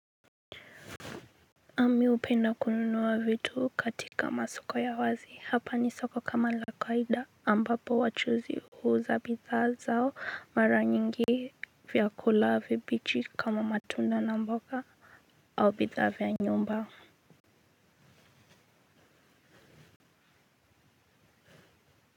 Mi hupenda kununua vitu katika masoko ya wazi hapa ni soko kama la kawaida ambapo wachuuzi huuza bidhaa zao mara nyingi vyakula vibichi kama matunda na mboga au bidhaa vya nyumba.